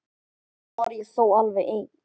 Sjaldnast var ég þó alveg ein.